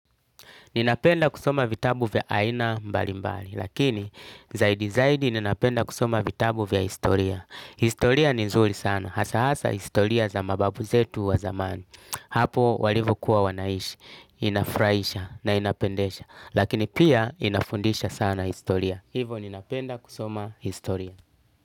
Ninapenda kusoma vitabu vya aina mbalimbali, lakini zaidi zaidi ninapenda kusoma vitabu vya historia. Historia ni nzuri sana, hasa hasa historia za mababu zetu wa zamani. Hapo walivyokuwa wanaishi, inafurahisha na inapendesha, lakini pia inafundisha sana historia. Hivyo ninapenda kusoma historia.